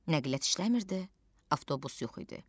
Nəqliyyat işləmirdi, avtobus yox idi.